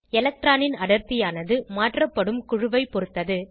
எலக்ட்ரானின் அடர்த்தியானது மாற்றப்படும் குழுவைப் பொருத்தது